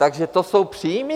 Takže to jsou příjmy.